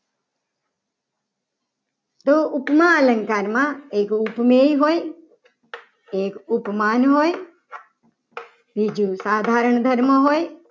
તો ઉપમા અલંકારમાં એક ઉપની હોય. એક ઉપમાન હોય બીજું સાધારણ ધર્મ હોય.